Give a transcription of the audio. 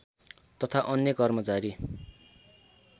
तथा अन्य कर्मचारी